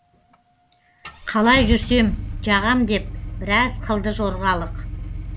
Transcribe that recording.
қалай жүрсем жағам деп біраз қылды жорғалық